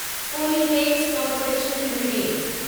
Polyplex Corporation limited